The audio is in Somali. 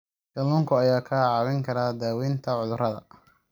Kalluunka ayaa kaa caawin kara daaweynta cudurrada.